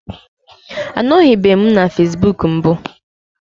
Anọbeghị m na facebook mbụ